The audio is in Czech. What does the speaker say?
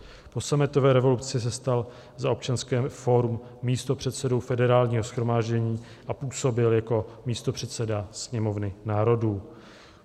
Po sametové revoluci se stal za Občanské fórum místopředsedou Federálního shromáždění a působil jako místopředseda Sněmovny národů.